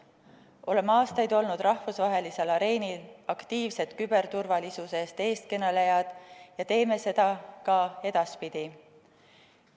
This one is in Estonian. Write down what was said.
Oleme aastaid olnud rahvusvahelisel areenil aktiivsed küberturvalisuse eestkõnelejad ja teeme seda ka edaspidi.